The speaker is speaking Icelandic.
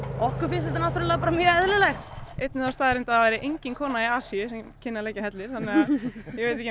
okkur finnst þetta náttúrlega bara mjög eðlilegt það einn með þá staðreynd að það væri engin kona í Asíu sem kynni að leggja hellur þannig